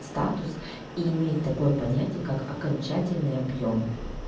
статус и имеет такое понятие как окончательный объем